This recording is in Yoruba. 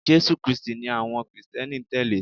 Jésù krístì ni àwọn krìsténi n tẹ̀lé